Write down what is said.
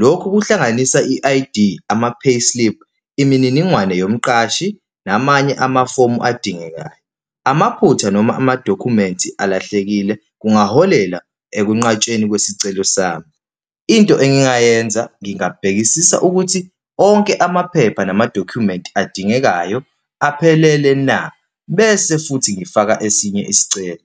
Lokhu kuhlanganisa i-I_D, ama-payslip, imininingwane yomqashi, namanye amafomu adingekayo. Amaphutha noma amadokhumenti alahlekile kungaholela ekunqatshweni kwesicelo sami. Into engingayenza, ngingabhekisisa ukuthi onke amaphepha namadokhumenti adingekayo aphelele na, bese futhi ngifaka esinye isicelo.